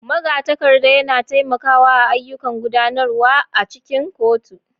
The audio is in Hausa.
Magatakarda yana taimakawa a ayyukan gudanarwa a cikin kotu.